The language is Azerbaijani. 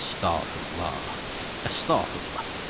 Əstağfurullah, əstağfurullah.